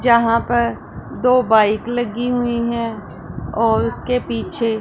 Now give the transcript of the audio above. जहां पर दो बाइक लगी हुईं हैं और उसके पीछे--